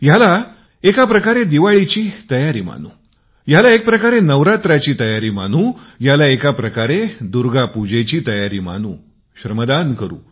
याला एका प्रकारे दिवाळीची तयारी मानू याला एक प्रकारची नवरात्रची तयारी मानू दुर्गा पूजेची तयारी मानू श्रमदान करू